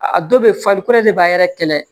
A dɔ bɛ farikolo de b'a yɛrɛ kɛlɛ